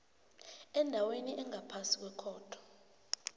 endaweni engaphasi kwekhotho